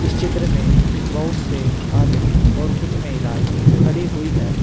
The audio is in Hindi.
इस चित्र में बहुत से आदमी और कुछ महिलाएं खड़ी हुई है।